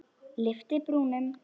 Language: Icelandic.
Lyfti brúnum.